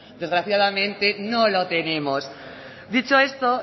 desgraciadamente no lo tenemos dicho esto